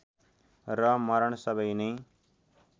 र मरण सबै नै